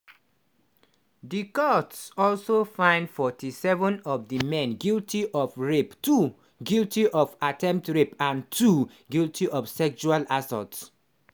di court also find 47 of di men guilty of rape two guilty of attempted rape and two guilty of sexual assault.